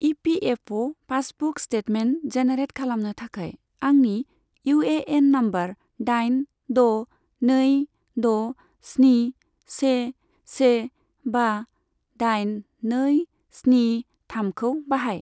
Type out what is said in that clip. EPFO passbook statement generate खालामनो थाखाय आंनि इउएएन नम्बर दाइन द' नै द' स्नि से से बा दाइन नै स्नि थामखौ बाहाय।